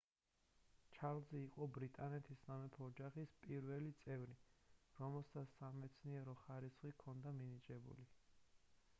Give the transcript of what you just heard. ჩარლზი იყო ბრიტანეთის სამეფო ოჯახის პირველი წევრი რომელსაც სამეცნიერო ხარისხი ჰქონდა მინიჭებული